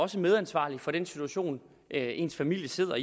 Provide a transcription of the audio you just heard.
sig medansvarlig for den situation ens familie sidder